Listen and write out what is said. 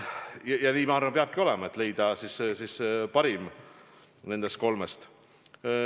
Ma arvan, et nii peabki olema, et leida parim lahendus nendest kolmest.